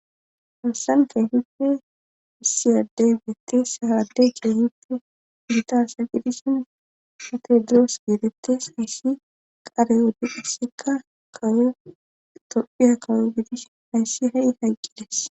Hansan kehippe issiyaaddey betti sa haade keehipe gitasa qidisin matedroos geeretes hayssi qareywodi qisikka kayo tophiya kawo gidis hayssi ha'i haqqides.